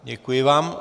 Děkuji vám.